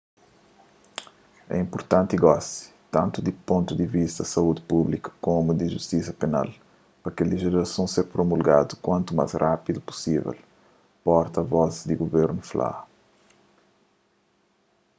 é inpurtanti gosi tantu di pontu di vista di saúdi públiku komu di justisa penal pa kel lejislason ser promulgadu kuantu más rapidu pusivel porta vos di guvernu fla